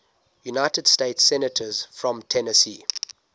united states senators from tennessee